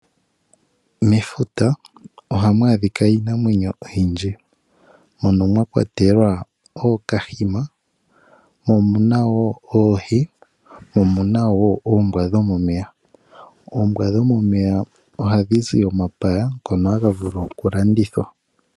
Mefuta ohamu adhika iinamwenyo oyindji mono mwakwatelwa woo ookahima, oohi noshowo oombwa dhomomeya. Oombwa dhomomeya ohadhi zi omapaya ngono haga vulu okulongithwa.